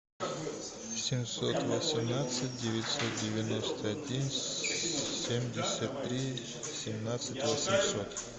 семьсот восемнадцать девятьсот девяносто один семьдесят три семнадцать восемьсот